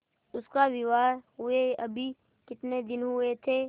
उसका विवाह हुए अभी कितने दिन हुए थे